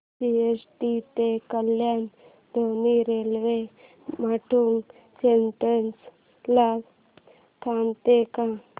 CST ते कल्याण धीमी railway Matunga station ला थांबते का